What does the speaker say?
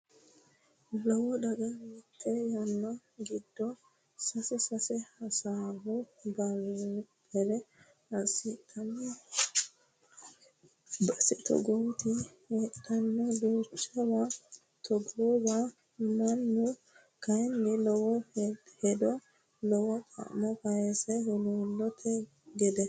Lowo daga mite yanna giddo sae sae hasaawu bare assidhano base togooti heedhano duuchawa togoowa mannu kayinni lowo hedo lowo xa'mo kaysanno huluulote gede.